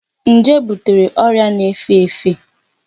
Njé butere ọrịa na-efe efe.